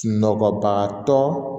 Sunɔgɔbaga tɔ